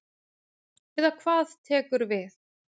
Eða hvað tekur við.